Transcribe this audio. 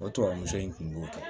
O tubabuso in kun b'o kɛ